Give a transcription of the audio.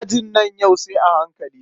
Ajin nan yau sai a hankali.